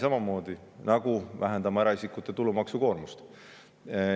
Samamoodi me vähendame eraisikute tulumaksukoormust.